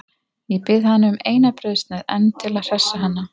Ég bið hana um eina brauðsneið enn til að hressa hana.